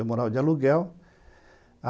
Eu morava de aluguel a